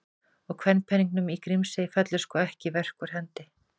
Og kvenpeningnum í Grímsey fellur sko ekki verk úr hendi.